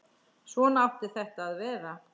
Svona átti þetta að vera.